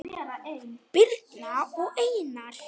Birna og Einar.